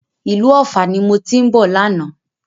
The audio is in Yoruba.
Ìlú Ọ̀fà ni mo ti ń bọ̀ lánàá